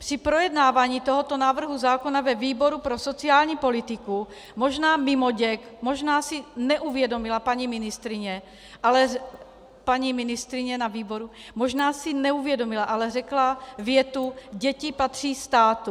Při projednávání tohoto návrhu zákona ve výboru pro sociální politiku, možná mimoděk, možná si neuvědomila paní ministryně na výboru, možná si neuvědomila, ale řekla větu: Děti patří státu.